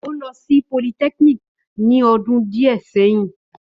Ó lọ sí polytechnic ní ọdún díẹ̀ sẹ́yìn